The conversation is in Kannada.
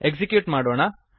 ಎಕ್ಸಿಕ್ಯೂಟ್ ಮಾಡೋಣ